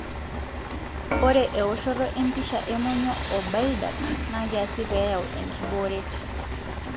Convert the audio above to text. ore eoshoto empisha emonyua o bile duct na kiasi peyau enkiboret.